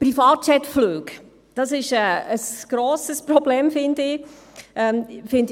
Privatjetflüge sind ein grosses Problem, finde ich.